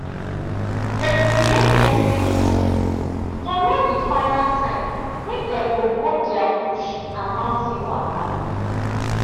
dem create message group to know the final time wey dem go go their bush and mountain waka